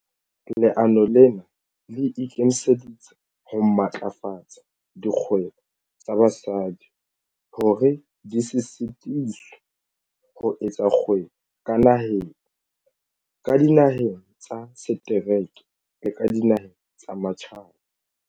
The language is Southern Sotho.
Leano lena le ikemiseditse ho matlafatsa dikgwebo tsa basadi hore di se sitiswe ho etsa kgwebo ka naheng, ka dinaheng tsa setereke le ka dinaheng tsa matjhaba.